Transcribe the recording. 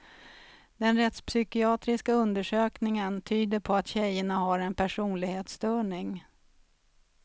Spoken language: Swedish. Den rättspsykiatriska undersökningen tyder på att tjejerna har en personlighetsstörning.